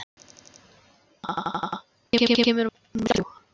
Maia, hvenær kemur vagn númer þrjátíu og þrjú?